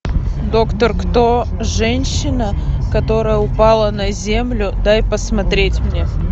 доктор кто женщина которая упала на землю дай посмотреть мне